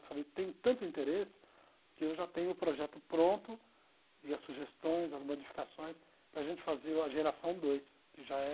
Eu falei, tenho tanto interesse que eu já tenho o projeto pronto e as sugestões, as modificações para a gente fazer a geração dois, que já é